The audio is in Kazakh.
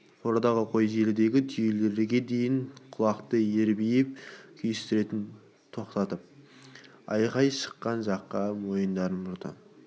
қорадағы қой желідегі түйелерге дейін құлақтары ербиіп күйістерін тоқтатып айқай шыққан жаққа мойындарын бұрады